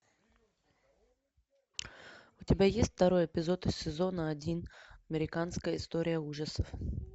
у тебя есть второй эпизод из сезона один американская история ужасов